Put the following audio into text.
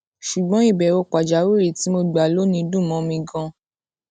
ṣùgbọn ìbèwò pàjáwìrì tí mo gbà lónìí dùn mó mi ganan